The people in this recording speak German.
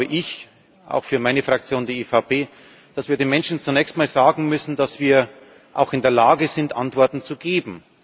Deswegen glaube ich auch für meine Fraktion, die EVP dass wir den Menschen zunächst mal sagen müssen, dass wir auch in der Lage sind, Antworten zu geben.